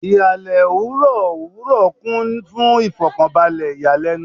Ihalẹ owurọ owurọ kun fun ifokanbalẹ iyalẹnu